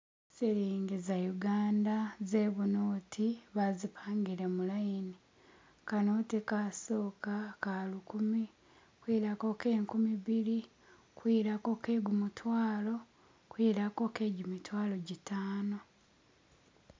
Silingi za uganda zebunoti bazipangile mulayini kanoti kasoka ka lukumi kwilako ke nkumibili kwilako kegumutwalo kwilako ke ji mitwalo jitano